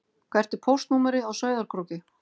Hvert er póstnúmerið á Sauðárkróki?